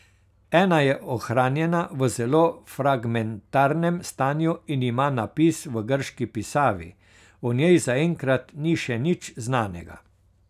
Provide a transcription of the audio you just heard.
Ena je ohranjena v zelo fragmentarnem stanju in ima napis v grški pisavi, o njej zaenkrat ni še nič znanega.